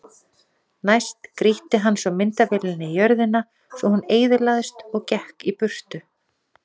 Næst grýtti hann svo myndavélinni í jörðina svo hún eyðilagðist og gekk í burtu.